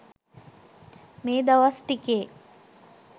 මේදවස් ටිකේ